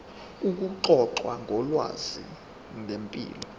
ukuxoxa ngolwazi ngempilo